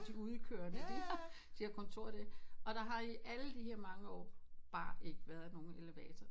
De udkørende de har de har kontor der og der har de alle de her mange år bare ikke været nogen elevator